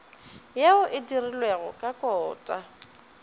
yeo e dirilwego ka kota